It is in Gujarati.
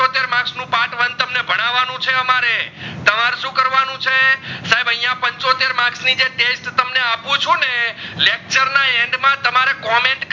સાહેબ અહીંયા પંચોતેર marks ની test આપું છું ને lecture ના end માં તમારે કમેંટ